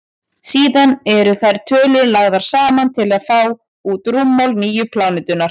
síðan eru þær tölur lagðar saman til að fá út rúmmál nýju plánetunnar